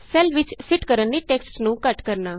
cell ਵਿਚ fit ਕਰਨ ਲਈ ਟੈਕਸਟ ਨੂੰ ਘੱਟ ਕਰਨਾ